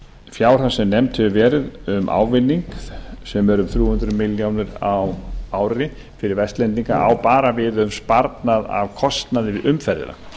fjárhæð sem nefnd hefur verið um ávinning sem er um þrjú hundruð milljóna króna á ári fyrir vestlendinga á bara við um sparnað af kostnaði við umferðina